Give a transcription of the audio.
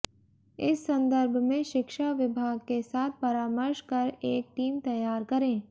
इस संदर्भ में शिक्षा विभाग के साथ परामर्श कर एक टीम तैयार करें